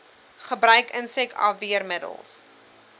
gebruik insek afweermiddels